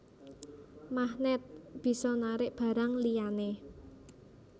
Magnèt bisa narik barang liyané